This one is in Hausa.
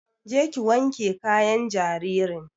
Je ki wanke kayan jaririn!